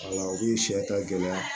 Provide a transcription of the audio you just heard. u ye sɛ ta gɛlɛya